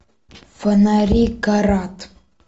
фонари карат